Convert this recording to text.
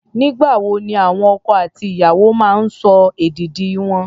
Nígbà wo ni àwọn ọkọ àti ìyàwó máa ń sọ èdìdì wọn?